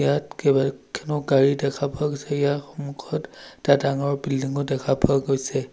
ইয়াত কেইবাখনো গাড়ী দেখা পোৱা গৈছে ইয়াৰ সন্মুখত এটা ডাঙৰ বিল্ডিঙো দেখা পোৱা গৈছে।